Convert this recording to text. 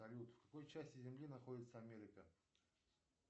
салют в какой части земли находится америка